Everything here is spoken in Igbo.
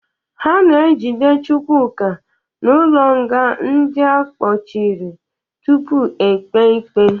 Ha na-ejide Chukwuka n'ụlọnga ndị a kpọchiri tupu ekpe ikpe.